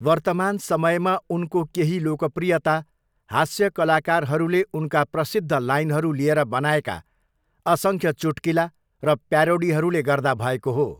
वर्तमान समयमा उनको केही लोकप्रियता हास्य कलाकारहरूले उनका प्रसिद्ध लाइनहरू लिएर बनाएका असङ्ख्य चुट्किला र प्यारोडीहरूले गर्दा भएको हो।